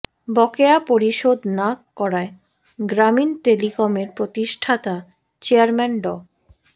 বকেয়া পরিশোধ না করায় গ্রামীণ টেলিকমের প্রতিষ্ঠাতা চেয়ারম্যান ড